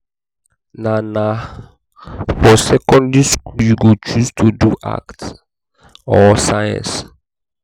na na for secondary skool you go choose to do arts or science.